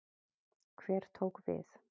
Hver tók við?